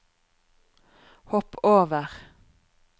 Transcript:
hopp over